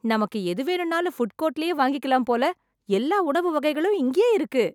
நமக்கு எது வேணுனாலும் புட் கோர்ட்லயே வாங்கிக்கலாம் போல, எல்லா உணவு வகைகளும் இங்கேயே இருக்கு